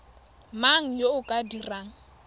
mang yo o ka dirang